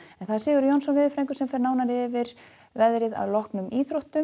Sigurður Jónsson veðurfræðingur fer nánar yfir veðrið að loknum íþróttum